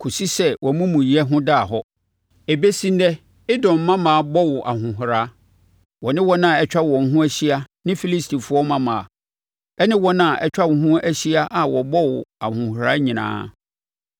kɔsi sɛ wʼamumuyɛ ho daa hɔ. Ɛbɛsi ɛnnɛ Edom mmammaa bɔ wo ahohora, wɔne wɔn a atwa wɔn ho ahyia ne Filistifoɔ mmammaa, ɛne wɔn a atwa wo ho ahyia a wɔbɔ wo ahohora nyinaa.